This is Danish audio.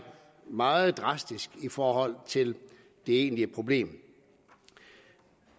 meget drastisk i forhold til det egentlige problem